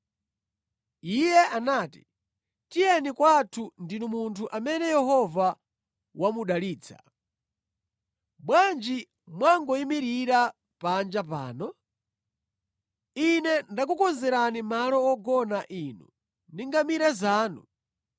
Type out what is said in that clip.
Iye anati, “Tiyeni kwathu, ndinu munthu amene Yehova wamudalitsa. Bwanji mwangoyimirira panja pano? Ine ndakukonzerani malo ogona inu ndi ngamira zanu.”